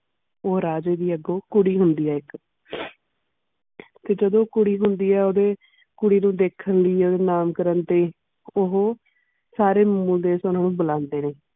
ਉਹ ਰਾਜੇ ਦੀ ਆਗੂ ਕੁੜੀ ਹੋਂਦੀ ਹੈ ਇਕ ਫਿਰ ਜਾਦੂ ਕੁੜੀ ਹੋਂਦੀ ਹੈ ਓਦੇ ਕੁੜੀ ਦਿਖੇੰ ਕਈ ਓਦੇ ਨਾਂ ਕਾਰਨ ਤੇ ਓਹੋ ਸਾਰੇ ਮੁੰਡੇ ਸਾਨੂ ਬੁਲਾਂਦੇ ਨੇ.